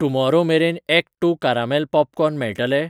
Tomorrow मेरेन act two caramel popcorn मेळटलें?